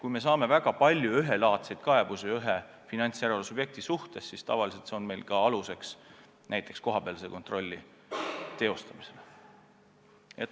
Kui me saame väga palju üht laadi kaebusi ühe finantsjärelevalve subjekti kohta, siis me tavaliselt võtame selle aluseks kohapealse kontrolli teostamisel.